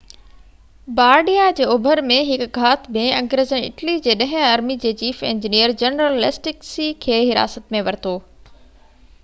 بارڊيا جي اوڀر ۾ هڪ گهات ۾ انگريزن اٽلي جي ڏهين آرمي جي چيف انجنيئر جنرل ليسٽڪسي کي حراست ۾ ورتو